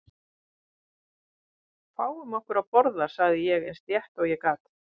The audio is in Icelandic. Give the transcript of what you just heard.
Fáum okkur að borða sagði ég eins létt og ég gat.